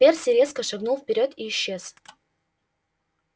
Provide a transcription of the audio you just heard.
перси резко шагнул вперёд и исчез